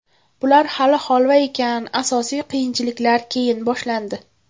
Bular hali holva ekan, asosiy qiyinchiliklar keyin boshlandi.